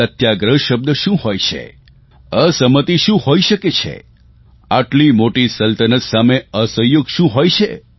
સત્યાગ્રહ શબ્દ શું હોય છે અસહમતિ શું હોઇ શકે છે આટલી મોટી સલ્તનત સામે અસહયોગ શું હોય છે